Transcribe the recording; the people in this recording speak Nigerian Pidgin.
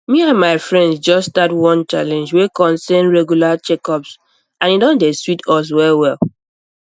me and my friends just start one challenge wey concern regular checkups and e don dey sweet us wellwell